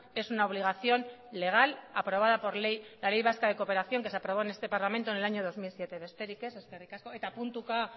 es una obligación legal aprobada por ley la ley vasca de cooperación que se aprobó en este parlamento en el año dos mil siete besterik ez eskerrik asko eta puntuka